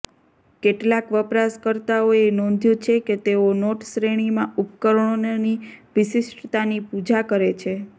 કેટલાક વપરાશકર્તાઓએ નોંધ્યું છે કે તેઓ નોટ શ્રેણીમાં ઉપકરણોની વિશિષ્ટતાની પૂજા કરે છે